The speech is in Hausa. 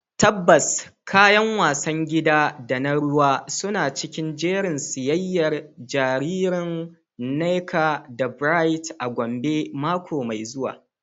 Tabbas, kayan wasan gida da na ruwa suna cikin jerin siyayyar jariran Nneka da Bright a Gombe mako mai zuwa.